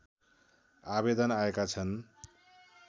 आवेदन आएका छन्